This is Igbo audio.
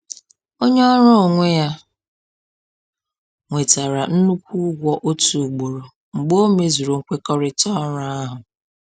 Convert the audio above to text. Onye ọrụ onwe ya nwetara nnukwu ụgwọ otu ugboro mgbe o mezuru nkwekọrịta ọrụ ahụ